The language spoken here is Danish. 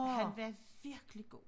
Han var virkelig god